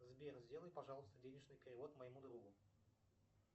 сбер сделай пожалуйста денежный перевод моему другу